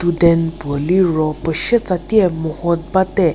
student puo liro pushe tsatie moho bate.